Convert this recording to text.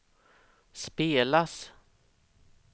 spelas